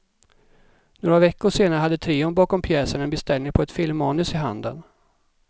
Några veckor senare hade trion bakom pjäsen en beställning på ett filmmanus i handen.